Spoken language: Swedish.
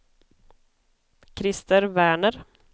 Krister Werner